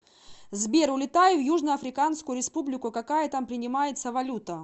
сбер улетаю в южно африканскую республику какая там принимается валюта